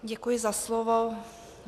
Děkuji za slovo.